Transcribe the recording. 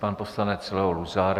Pan poslanec Leo Luzar.